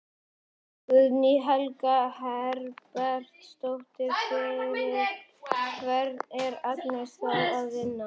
Guðný Helga Herbertsdóttir: Fyrir hvern er Agnes þá að vinna?